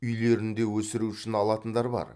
үйлерінде өсіру үшін алатындар бар